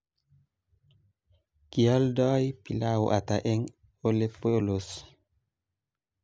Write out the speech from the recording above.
Kioldoi pilau ata eng Olepolos?